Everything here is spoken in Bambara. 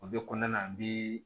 O bɛ kɔnɔna na bi